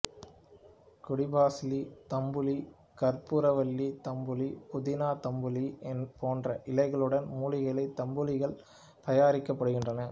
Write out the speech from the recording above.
கொடிபசலி தம்புலி கற்பூரவல்லி தம்புலி புதினா தம்புலி போன்ற இலைகளுடன் மூலிகை தம்புலிகள் தயாரிக்கப்படுகின்றன